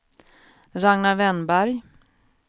Ragnar Wennberg